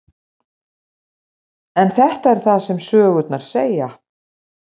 En þetta er það sem sögurnar segja.